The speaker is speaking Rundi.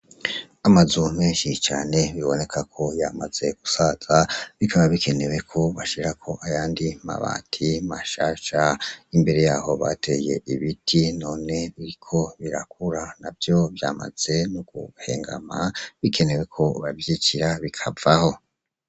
Amazu menshi cane biboneka ko yamaze gusaza bikaba bikeneweko bashirako ayandi mabati mashasha imbere yaho bateye ibiti none biriko birakura na vyo vyamaze no guhengama bikenewe ko bavyicira bikavaho.